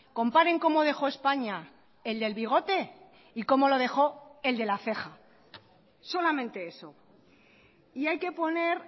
comparen cómo dejó españa el del bigote y cómo lo dejó el de la ceja solamente eso y hay que poner